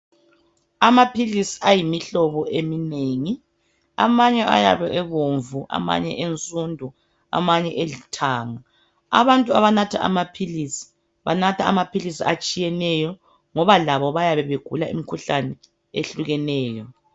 Amaphilisi ayimihlobo eminengi. Amanye ayabe ebomvu, amanye ensundu, amanye elithanga. Abantu abanatha amaphilisi, banatha amaphilisi atshiyeneyo, ngoba labo bayabe begula imikhuhlane ehlukeneyo.